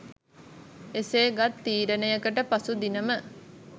එසේගත් තීරණයකට පසුදිනම